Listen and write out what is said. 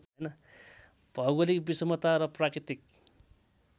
भौगोलिक विषमता र प्राकृतिक